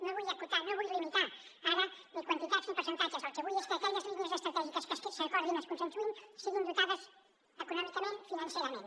no vull acotar no vull limitar ara ni quantitats ni percentatges el que vull és que aquelles línies estratègiques que s’acordin es consensuïn siguin dotades econòmicament financerament